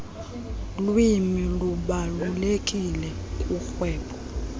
lwimi zibalulekileyo kurhwebo